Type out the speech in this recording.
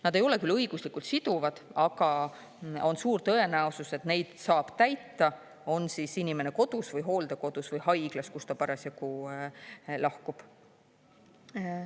Nad ei ole küll õiguslikult siduvad, aga on suur tõenäosus, et neid saab täita, on siis inimene kodus või hooldekodus või haiglas, kus ta parasjagu lahkub.